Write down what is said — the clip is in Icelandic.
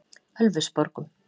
Ölfusborgum